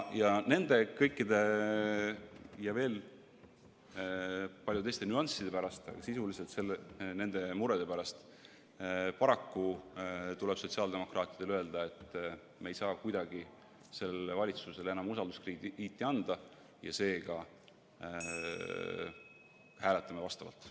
Kõikide nende ja veel paljude teiste nüansside pärast, aga sisuliselt nende murede pärast tuleb sotsiaaldemokraatidel paraku öelda, et me ei saa kuidagi sellele valitsusele enam usalduskrediiti anda, ja seega hääletame vastavalt.